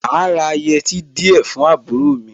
Màá ra àwọn yẹtí díẹ̀ fún àbúrò mi.